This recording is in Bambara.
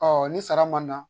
ni sara ma na